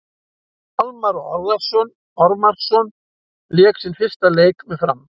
Almarr Ormarsson lék sinn fyrsta leik með Fram.